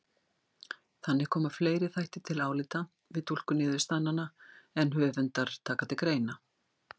Þannig koma fleiri þættir til álita við túlkun niðurstaðnanna en höfundar taka til greina.